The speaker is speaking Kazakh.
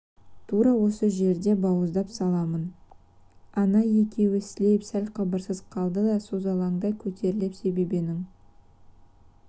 тура осы жерде бауыздап саламын ана екеуі сілейіп сәл қыбырсыз қалды да созалаңдай көтерілді себебенің